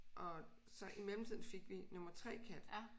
Og så i mellemtiden fik vi nummer 3 kat